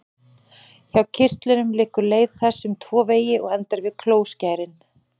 Frá kirtlunum liggur leið þess um tvo vegi og endar við klóskærin.